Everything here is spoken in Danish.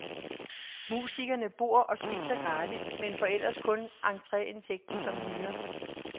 Musikerne bor og spiser gratis, men får ellers kun entreindtægten som hyre.